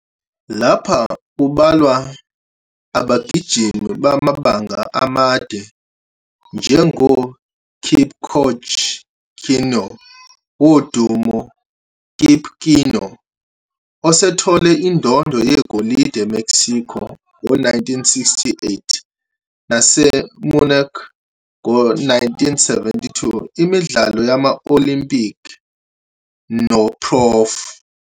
Lapha kubalwa abagijimi bamabanga amade njengoKipchoge Keino wodumo, Kip Keino, osethole indondo yegolide eMexico, 1968, naseMunich, 1972, imidlalo yama-Olimpiki noProf.